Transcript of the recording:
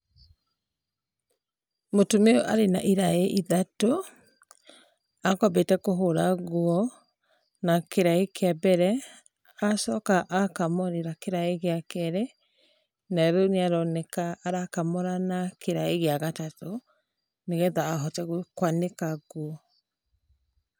Mũtumia ũyũ arĩ na iraĩ ithatũ akwambĩte kũhũra nguo na kĩrĩa kĩa mbere, acoka akamũrĩra kĩraĩ gĩa kerĩ, na rĩu nĩ aroneka arakamũrĩra kĩraĩ gĩa gatatũ nĩgetha ahote kwanĩka nguo.